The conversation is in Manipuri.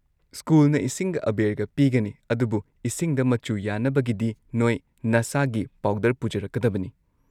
ꯁ꯭ꯀꯨꯜꯅ ꯏꯁꯤꯡꯒ ꯑꯥꯕꯦꯔꯒ ꯄꯤꯒꯅꯤ, ꯑꯗꯨꯕꯨ ꯏꯁꯤꯡꯗ ꯃꯆꯨ ꯌꯥꯟꯅꯕꯒꯤꯗꯤ ꯅꯣꯏ ꯅꯁꯥꯒꯤ ꯄꯥꯎꯗꯔ ꯄꯨꯖꯔꯛꯀꯗꯕꯅꯤ꯫